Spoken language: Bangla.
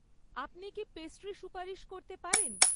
আপনি কি পেস্ট্রি সুপারিশ করতে পারেন?